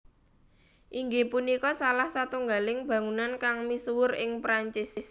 Inggih punika salah satunggaling bangunan kang misuwur ing Perancis